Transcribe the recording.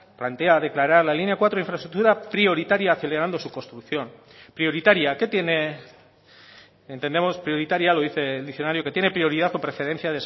plantea declarar la línea cuatro infraestructura prioritaria acelerando su construcción prioritaria qué tiene entendemos prioritaria lo dice el diccionario que tiene prioridad o preferencia